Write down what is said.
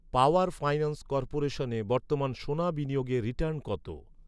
পাওয়ার finance কর্পোরেশনে বর্তমানে সোনা বিনিয়োগে রিটার্ন কত?